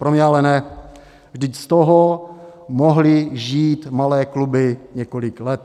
Pro mě ale ne, vždyť z toho mohly žít malé kluby několik let.